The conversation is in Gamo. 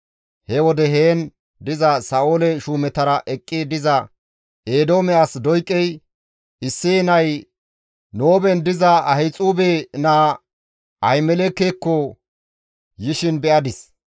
He wode heen diza Sa7oole shuumetara eqqi diza Eedoome as Doyqey, «Isseye nay Nooben diza Ahixuube naa Ahimelekekko yishin be7adis.